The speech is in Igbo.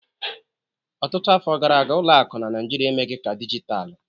Ọtụtụ afọ gara aga, ụlọ akụ na Nigeria emeghị ka dijitalụ